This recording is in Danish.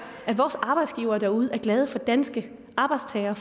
at vores arbejdsgivere derude er glade for danske arbejdstagere